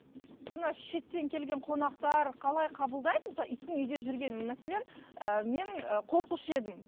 тіпті мына шеттен келген қонақтар қалай қабылдайды мысалы иттің үйде жүргенін мәселен ы мен ы қорқушы едім